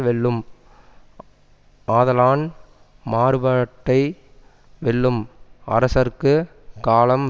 வெல்லும் ஆதலான் மாறுபாட்டை வெல்லும் அரசர்க்கு காலம்